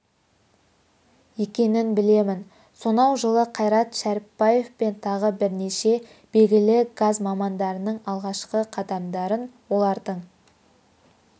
екенін білемін сонау жылы қайрат шәріпбаев пен тағы бірнеше белгілі газ мамандарының алғашқы қадамдарын олардың